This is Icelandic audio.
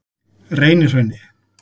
Reynihrauni